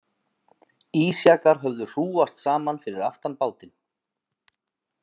Ísjakar höfðu hrúgast saman fyrir aftan bátinn.